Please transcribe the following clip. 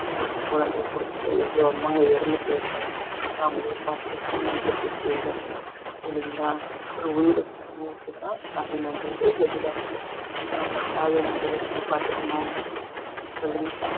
ஒரு குழந்தைய கொடுத்துட்டு எவ்வளோ அம்மாங்க இறந்து போயிருப்பாங்க நாமளே பாத்துருப்போம் நம்மளுக்கும் தெரியும் சரிங்களா ஒரு உயிர தான் தாய்மைன்றது வெளில அந்த தாய நம்ம எப்படி பாத்துக்கணும் சொல்லுங்க